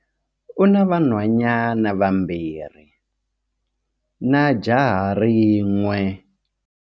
U na vanhwanyana vambirhi na jaha rin'we.